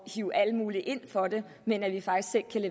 hive alle mulige ind for det men at